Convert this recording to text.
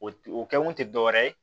O o kɛkun tɛ dɔwɛrɛ ye